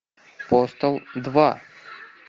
постал два